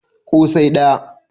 ko sai daya